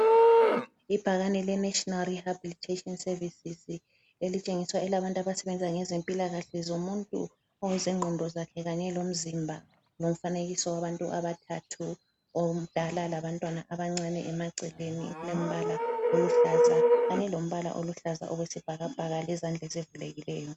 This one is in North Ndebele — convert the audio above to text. Ibhakane le National rehabilitation services, elitshengisa elabantu abasebenza ngezempilakahle zomuntu okweze ngqondo zakhe Kanye lomzimba lomfanekiso wabantu abathathu omdala labantwana abancane emaceleni lombala oluhlaza kanye lombala oluhlaza okwesibhakabhaka lezandla ezivulekileyo.